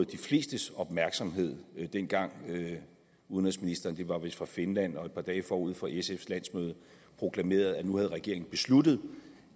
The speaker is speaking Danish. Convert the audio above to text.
de flestes opmærksomhed dengang udenrigsministeren det var vist fra finland og et par dage forud for sfs landsmøde proklamerede at nu havde regeringen besluttet